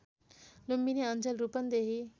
लुम्बिनी अञ्चल रूपन्देही